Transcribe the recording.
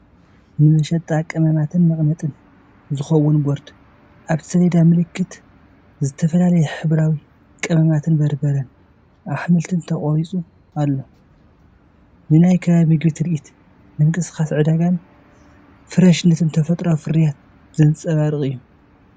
ንመሸጣ ቀመማትን መቐመጢን ዝኸውን ቦርድ። ኣብቲ ሰሌዳ ምልክታ እተፈላለየ ሕብራዊ ቀመማትን በርበረን ኣሕምልትን ተቐሪጹ ኣሎ። ንናይ ከባቢ ምግቢ ትርኢት፣ ምንቅስቓስ ዕዳጋን ፍረሽነት ተፈጥሮኣዊ ፍርያትን ዘንጸባርቕ እዩ።